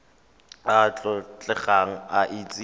a a tlotlegang a itse